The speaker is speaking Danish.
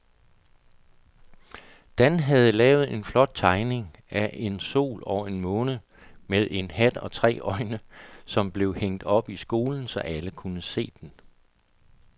Dan havde lavet en flot tegning af en sol og en måne med hat og tre øjne, som blev hængt op i skolen, så alle kunne se den.